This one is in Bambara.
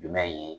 Jumɛn in ye